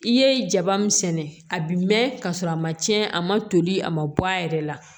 I ye jaba min sɛnɛ a bi mɛn ka sɔrɔ a ma cɛn a ma toli a ma bɔ a yɛrɛ la